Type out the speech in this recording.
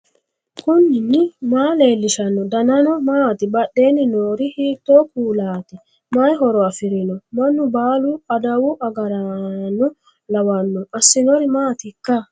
knuni maa leellishanno ? danano maati ? badheenni noori hiitto kuulaati ? mayi horo afirino ? mannu baalu adawu agaraanno lawanno assinori maatikka